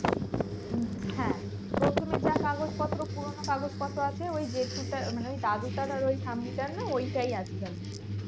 হম হ্যাঁ প্রথমে যা কাগজপত্র পুরোনো কাগজপত্র আছে ওই জেঠুটা মানে ওই দাদু চালায় ওই ঠাম্মিটার না মানে ওইটাই আছে জানিসনা